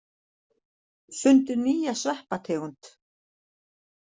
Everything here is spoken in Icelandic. Fundu nýja sveppategund